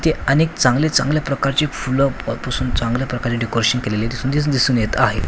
ते अनेक चांगले चांगले प्रकारचे फुलं पासून चांगल्या प्रकारे डेकोरेशन केलेली दिसून येत आहे.